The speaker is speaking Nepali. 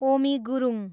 ओमी गुरुङ